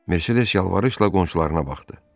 Mercedes yalvarışla qonşularına baxdı.